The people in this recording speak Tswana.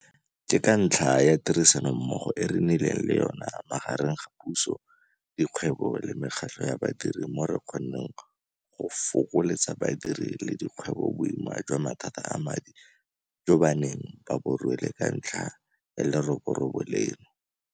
Ke ka ntlha ya tirisanommogo e re nnileng le yona magareng ga puso, dikgwebo le mekgatlho ya badiri mo re kgonneng go fokoletsa badiri le dikgwebo boima jwa mathata a madi jo ba neng ba bo rwele ka ntlha ya leroborobo leno.